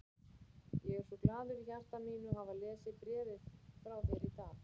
Ég er svo glaður í hjarta mínu að hafa lesið bréfin frá þér í dag.